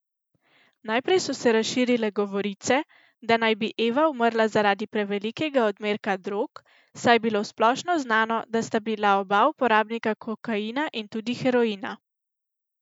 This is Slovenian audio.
Najprej so se razširile govorice, da naj bi Eva umrla zaradi prevelikega odmerka drog, saj je bilo splošno znano, da sta bila oba uporabnika kokaina in tudi heroina.